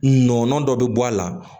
Nɔnɔnin dɔ bɛ bɔ a la